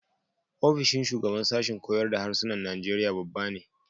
Ofishin shugaban sashen koyar da Harsunan Najeriya babba ne.